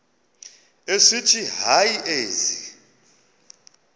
esithi hayi ezi